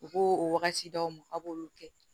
U ko o wagati d'aw ma k'a b'olu kɛ